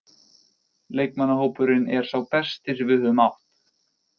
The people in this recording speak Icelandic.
Leikmannahópurinn er sá besti sem við höfum átt.